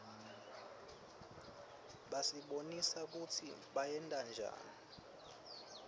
basibonisa kutsi bayentanjani